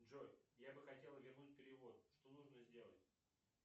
джой я бы хотел вернуть перевод что нужно сделать